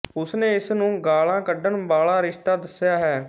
ਉਸ ਨੇ ਇਸ ਨੂੰ ਗਾਲਾਂ ਕੱਢਣ ਵਾਲਾ ਰਿਸ਼ਤਾ ਦੱਸਿਆ ਹੈ